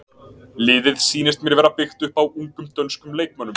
Liðið sýnist mér vera byggt upp á ungum dönskum leikmönnum.